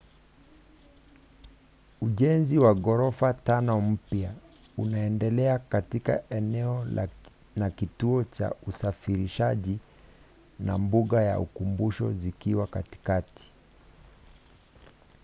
ujenzi wa ghorofa tano mpya unaendelea katika eneo na kituo cha usafirishaji na mbuga ya ukumbusho zikiwa katikati